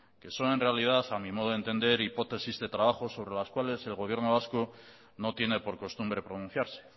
que son en realidad a mi modo de entender hipótesis de trabajo sobre las cuales el gobierno vasco no tiene por costumbre pronunciarse